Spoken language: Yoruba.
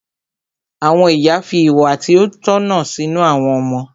Àwọn ìyá fi ìwà tí ó tọ̀nà sínú àwọn ọmọ.